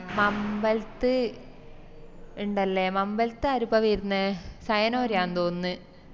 മമ്പലത്ത് ഇണ്ടല്ലേ മമ്പലത്ത് ആരപ്പാ വേര്ന്നെ സയനോരയാന്ന് തോന്നിന്ന്